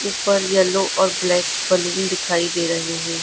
ऊपर येलो और black colour दिखाई दे रहे हैं।